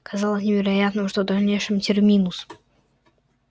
казалось невероятным что в дальнейшем терминус